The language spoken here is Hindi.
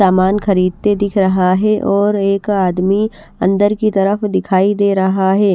सामान खरीदते दिख रहा है और एक आदमी अंदर की तरफ दिखाई दे रहा है।